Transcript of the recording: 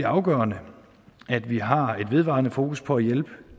afgørende at vi har et vedvarende fokus på at hjælpe